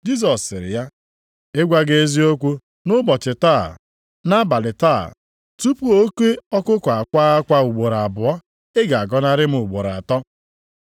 Jisọs sịrị ya, “Ịgwa gị eziokwu, nʼụbọchị taa, nʼabalị taa, tupu oke ọkụkụ akwaa akwa ugboro abụọ, ị ga-agọnarị m ugboro atọ.”